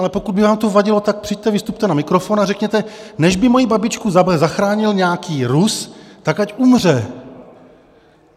Ale pokud by vám to vadilo, tak přijďte, vystupte na mikrofon a řekněte, než by moji babičku zachránil nějaký Rus, tak ať umře.